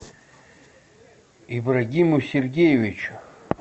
ибрагиму сергеевичу